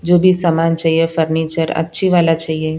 जो भी सामान चाहिए फर्नीचर अच्छी वाला चाहिए।